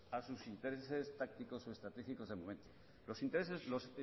a sus intereses tácticos estratégicos del momento los intereses los